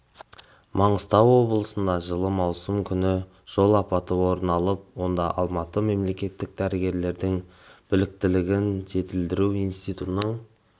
маңғыстау облысында жылы маусым күні жол апаты орын алып онда алматы мемлекеттік дәрігерлердің біліктілігін жетілдіру институтының